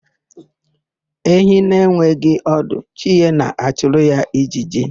Ehi na-enweghị ọdụ, chi ya na-achụrụ ya ijiji.